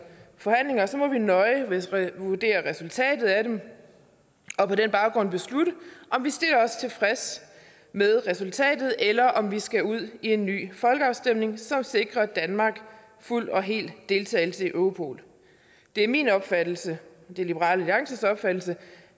forhandlinger må vi nøje vurdere resultatet af dem og på den baggrund beslutte om vi stiller os tilfreds med resultatet eller om vi skal ud i en ny folkeafstemning som sikrer danmark fuld og hel deltagelse i europol det er min opfattelse det er liberal alliances opfattelse